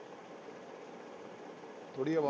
ਥੋੜ੍ਹੀ ਅਵਾ